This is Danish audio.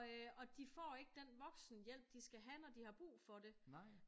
Og øh de får ikke den voksenhjælp de skal have når de har brug for det